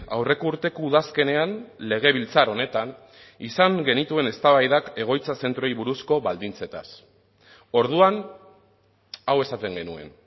aurreko urteko udazkenean legebiltzar honetan izan genituen eztabaidak egoitza zentroei buruzko baldintzetaz orduan hau esaten genuen